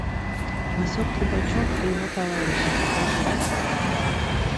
васек трубачев и его товарищи покажи